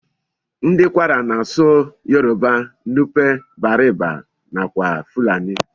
Ndi kwara na asụ yoruba, nupe, bariba nakwa fulani.